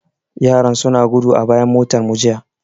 Yaran suna gudu a bayan motarmu jiya.